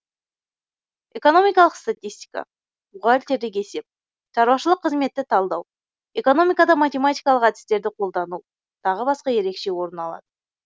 экономикалық статистика бухгалтерлік есеп шаруашылық қызметті талдау экономикада математикалық әдістерді қолдану тағы басқа ерекше орын алады